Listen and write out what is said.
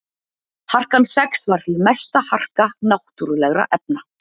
Harkan sex var því mesta harka náttúrulegra efna.